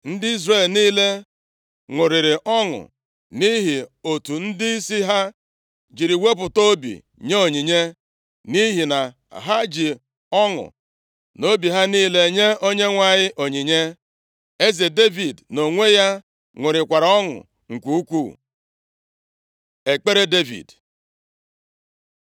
Ndị Izrel niile ṅụrịrị ọṅụ nʼihi otu ndịisi ha jiri wepụta obi nye onyinye, nʼihi na ha ji ọṅụ na obi ha niile nye Onyenwe anyị onyinye. Eze Devid nʼonwe ya ṅụrịkwara ọṅụ nke ukwuu. Ekpere Devid